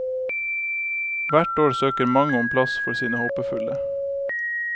Hvert år søker mange om plass for sine håpefulle.